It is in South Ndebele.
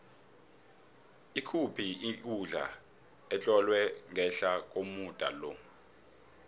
ikuphi ikundla etlolwe ngehla komuda lo